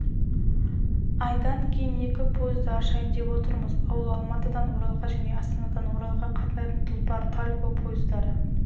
айдан кейін екі пойызды ашайын деп отырмыз ол алматыдан оралға және астанадан оралға қатынайтын тұлпар-тальго пойыздары